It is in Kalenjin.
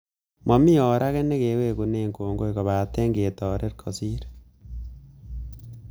Mami or ake nekewekune kongoi kopate ketoret kosir